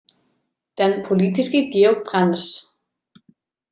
Den politiske Georg Brandes.